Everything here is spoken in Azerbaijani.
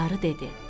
Qarı dedi: